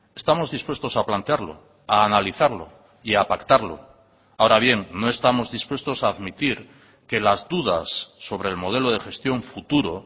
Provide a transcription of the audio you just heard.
estamos dispuestos a plantearlo a analizarlo y a pactarlo ahora bien no estamos dispuestos a admitir que las dudas sobre el modelo de gestión futuro